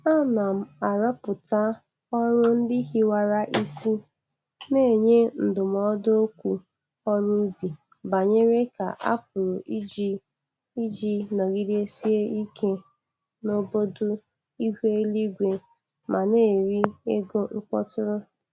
Ana m arọpụta ọrụ ndị hiwara isi n'nye ndụmọdụ okwu ọrụ ubi banyere ka a pụrụ iji iji nọgidesie ike n'bọdụ ihu eluigwe ma na-eri ego mkpọtụrụ.